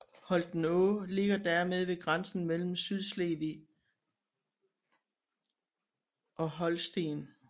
Holtenå ligger dermed ved grænsen mellem Sydslesvig og Holsten